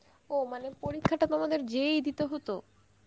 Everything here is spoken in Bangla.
ও মানে পরীক্ষাটা তোমাদের যেয়েই দিতে হত